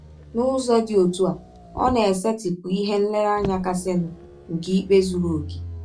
N’ụzọ dị ọtụ a, ọ na - esetịpụ ihe nlereanya kasịnụ nke ikpe zụrụ ọkè.